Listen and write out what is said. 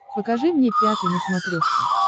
покажи мне пятый на смотрешке